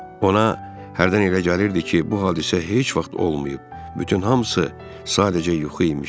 Ona hərdən elə gəlirdi ki, bu hadisə heç vaxt olmayıb, bütün hamısı sadəcə yuxu imiş.